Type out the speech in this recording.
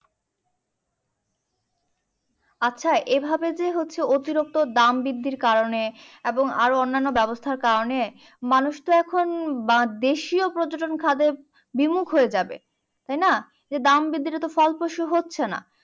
আচ্ছা, এই ভাবে যে হচ্ছে অতিরক্ত দাম বৃদ্ধির কারণে এবং আরো অন্যান্য ব্যবস্থার কারণে, মানুষতো এখন দেশীয় পর্যটন খাবে বিমুখ হইয়ে যাবে, তাইনা? এই দাম বৃদ্ধিটাতো ফলপ্রসু হচ্ছে না।